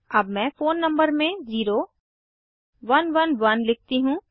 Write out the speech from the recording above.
अब मैं phone number में 0111 लिखती हूँ